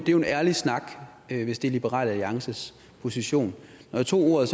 jo ærlig snak hvis det er liberal alliances position når jeg tog ordet